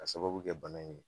K'a sababu kɛ bana in ye